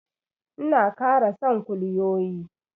Ina kara son kulyoyi.